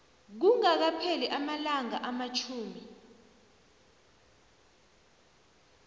kungakapheli amalanga amatjhumi